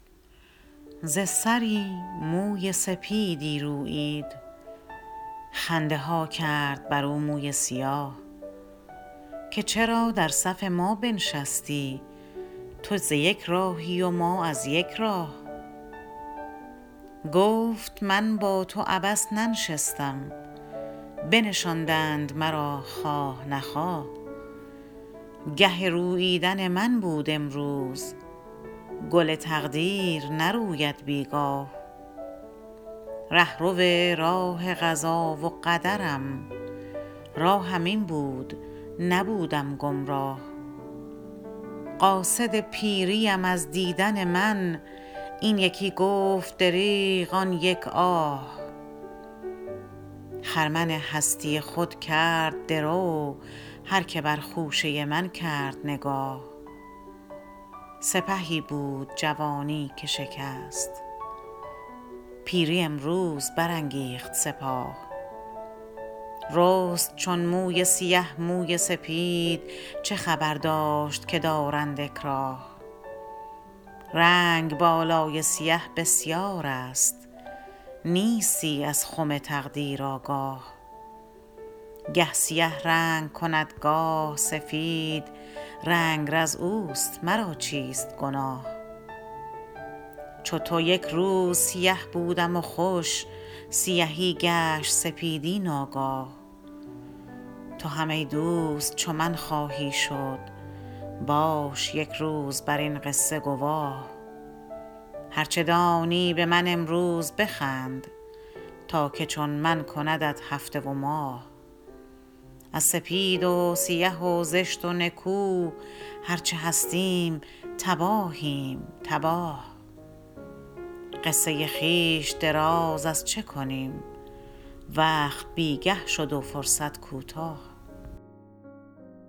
ز سری موی سپیدی رویید خنده ها کرد بر او موی سیاه که چرا در صف ما بنشستی تو ز یک راهی و ما از یک راه گفت من با تو عبث ننشستم بنشاندند مرا خواه نخواه گه روییدن من بود امروز گل تقدیر نروید بیگاه رهرو راه قضا و قدرم راهم این بود نبودم گمراه قاصد پیری ام از دیدن من این یکی گفت دریغ آن یک آه خرمن هستی خود کرد درو هر که بر خوشه من کرد نگاه سپهی بود جوانی که شکست پیری امروز برانگیخت سپاه رست چون موی سیه موی سپید چه خبر داشت که دارند اکراه رنگ بالای سیه بسیار است نیستی از خم تقدیر آگاه گه سیه رنگ کند گاه سفید رنگرز اوست مرا چیست گناه چو تو یکروز سیه بودم و خوش سیهی گشت سپیدی ناگاه تو هم ای دوست چو من خواهی شد باش یک روز بر این قصشه گواه هر چه دانی به من امروز بخند تا که چون من کندت هفته و ماه از سپید و سیه و زشت و نکو هر چه هستیم تباهیم تباه قصه خویش دراز از چه کنیم وقت بیگه شد و فرصت کوتاه